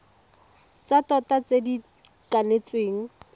tsa tota tse di kanetsweng